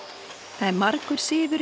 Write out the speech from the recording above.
það er margur